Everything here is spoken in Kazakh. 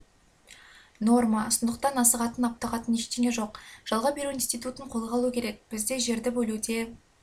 норма сондықтан асығатын аптығатын ештеңе жоқ жалға беру институтын қолға алу керек бізде жерді бөлуде